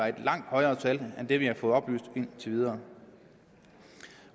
et langt højere tal end det vi har fået oplyst indtil videre